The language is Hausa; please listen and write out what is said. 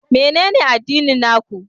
Menene addinin na ku?